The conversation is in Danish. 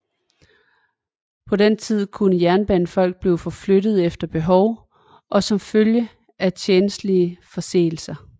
På den tid kunne jernbanefolk blive forflyttet efter behov eller som følge af tjenstlige forseelser